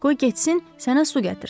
Qoy getsin sənə su gətirsin.